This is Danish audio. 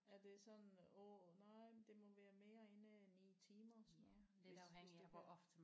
Er det sådan åh nej men det må være end en 9 timer sådan noget hvis det